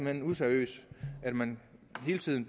hen useriøst at man hele tiden